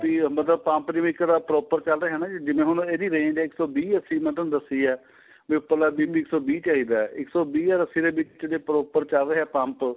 BP ਮਤਲਬ pump ਦੇ ਵਿੱਚ ਇੱਕ ਤਾਂ proper ਚੱਲ ਰਿਹਾ ਹਾਂ ਜਿਵੇਂ ਹੁਣ ਇਹਦੀ range ਏ ਇੱਕ ਸੋ ਵੀਹ ਅੱਸੀ ਮੈਂ ਤੁਹਾਨੂੰ ਦੱਸੀ ਆਂ ਵੀ ਉੱਪਰਲਾ BP ਇੱਕ ਸੋ ਵੀਹ ਚਾਹੀਦਾ ਏ ਇੱਕ ਸੋ ਵੀਹ ਅਰ ਅੱਸੀ ਦੇ ਵਿੱਚ ਕਿਥੇ proper ਚੱਲ ਰਿਹਾ pump